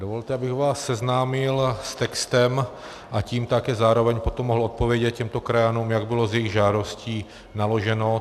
Dovolte, abych vás seznámil s textem, a tím také zároveň potom mohl odpovědět těmto krajanům, jak bylo s jejich žádostí naloženo.